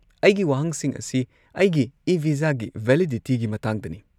ꯑꯩꯒꯤ ꯋꯥꯍꯪꯁꯤꯡ ꯑꯁꯤ ꯑꯩꯒꯤ ꯏ-ꯚꯤꯖꯥꯒꯤ ꯚꯦꯂꯤꯗꯤꯇꯤꯒꯤ ꯃꯇꯥꯡꯗꯅꯤ꯫